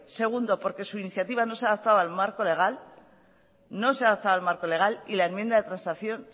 segundo porque su iniciativa no se ha adaptado al marco legal y la enmienda de transacción